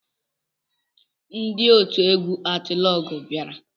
Ndị otu egwu atịlọgwụ bịara